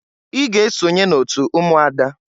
I ga esonye n'otu ụmụada!